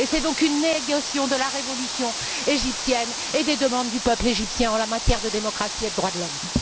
C'est donc une négation de la révolution égyptienne et des demandes du peuple égyptien en matière de démocratie et de droits de l'homme.